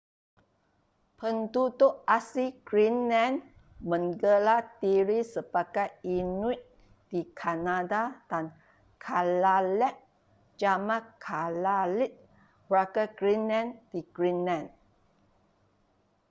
penduduk asli greenland menggelar diri sebagai inuit di kanada dan kalaalleq jamak kalaallit warga greenland di greenland